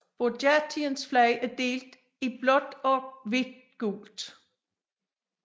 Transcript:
Burjatiens flag er delt i blåt hvidt og gult